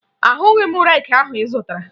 Ahụghị m reeki ahụ ị zụtara